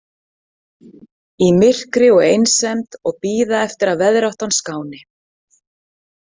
Í myrkri og einsemd og bíða eftir að veðráttan skáni.